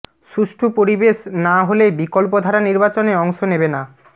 সুষ্ঠু পরিবেশ না হলে বিকল্পধারা নির্বাচনে অংশ নেবে না